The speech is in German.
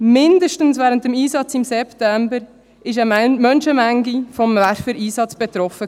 Mindestens während des Einsatzes im September war eine Menschenmenge vom Werfer-Einsatz betroffen.